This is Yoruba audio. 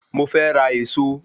Mo fé ra Ẹ̀ẹ̀so